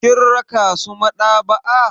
Kin raka su maɗaba'a.